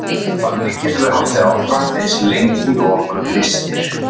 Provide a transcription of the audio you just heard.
þannig getum við haldið áfram eins lengi og okkur lystir